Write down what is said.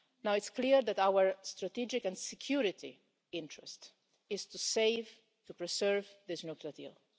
It's clear that our strategic and security interest is to save, to preserve this nuclear deal.